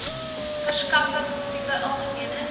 o verskaffertipe algemene